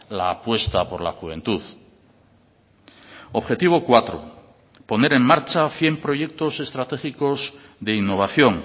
la apuesta por la juventud objetivo cuatro poner en marcha cien proyectos estratégicos de innovación